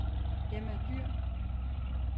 Emma Dyhr